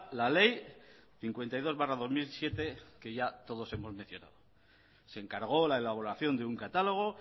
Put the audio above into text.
la ley cincuenta y dos barra dos mil siete que ya todos hemos mencionado se encargó la elaboración de un catálogo